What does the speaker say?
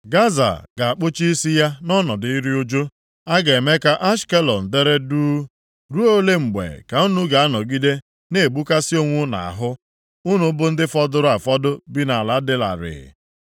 Gaza ga-akpụcha isi ya nʼọnọdụ iru ụjụ. A ga-eme ka Ashkelọn dere duu. Ruo ole mgbe ka unu ga-anọgide na-egbukasị onwe unu ahụ, unu bụ ndị fọdụrụ afọdụ bi nʼala dị larịị?